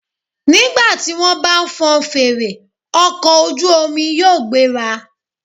Nígbà tí wọ́n bá fọn fèrè, ọkọ̀ ojú omi yóò gbéra.